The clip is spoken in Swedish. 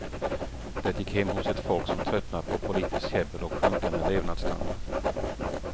Det gick hem hos ett folk som tröttnat på politiskt käbbel och sjunkande levnadsstandard.